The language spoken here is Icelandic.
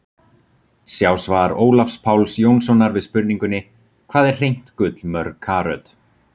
Sjá svar Ólafs Páls Jónssonar við spurningunni: Hvað er hreint gull mörg karöt?